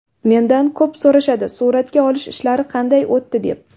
Mendan ko‘p so‘rashadi, suratga olish ishlari qanday o‘tdi deb.